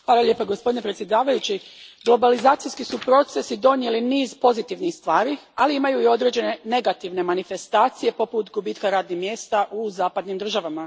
Gospodine predsjedniče, globalizacijski su procesi donijeli niz pozitivnih stvari, ali imaju i određene negativne manifestacije poput gubitka radnih mjesta u zapadnim državama.